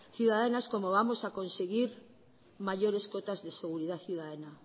ciudadanas como vamos a conseguir mayores cuotas de seguridad ciudadana